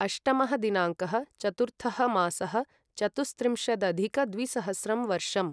अष्टमः दिनाङ्कः चतुर्थः मासः चतुस्त्रिंशदधिकद्विसहस्रं वर्षम्